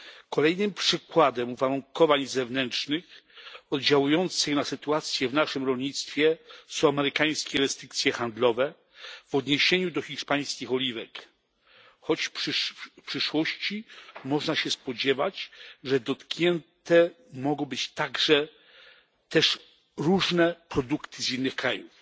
Kolejnym przykładem uwarunkowań zewnętrznych oddziałujących na sytuację w naszym rolnictwie są amerykańskie restrykcje handlowe w odniesieniu do hiszpańskich oliwek, choć w przyszłości można się spodziewać, że dotknięte mogą być także różne produkty z innych krajów.